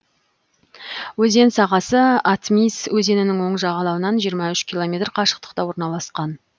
өзен сағасы атмисс өзенінің оң жағалауынан жиырма үш километр қашықтықта орналасқан